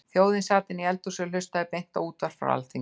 Þjóðin sat inni í eldhúsi og hlustaði á beint útvarp frá Alþingi.